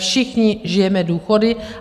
Všichni žijeme důchody.